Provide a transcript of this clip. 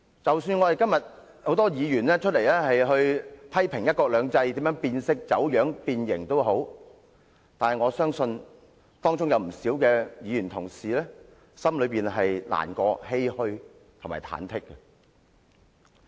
即使今天很多議員批評"一國兩制"變色、走樣、變形，但我相信當中有不少議員同事心感難過、欷歔和忐忑。